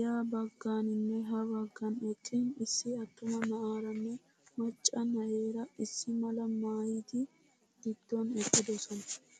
ya bagganinne ha baggan eqqin issi attuma na'aaranne macca na'eera issi malaa maayyidi gidduwan eqqidosona.